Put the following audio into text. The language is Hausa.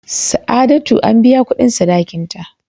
Sa'adatu an biya kudin sadakin ta.